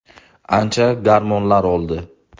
Ancha gormonlar oldi.